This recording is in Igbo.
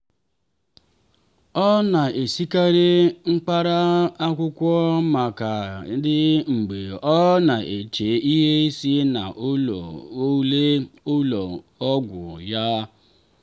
ọ na-esikarị mkpara akwụkwọ maka tii mgbe ọ na-eche ihe si na ule ụlọ ọgwụ ya.